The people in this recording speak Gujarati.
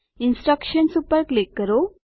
ઇન્સ્ટ્રકશન્સ ઉપર ક્લિક કરો